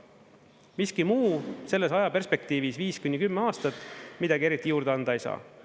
Miski muu selles ajaperspektiivis, viis kuni kümme aastat, midagi eriti juurde anda ei saa.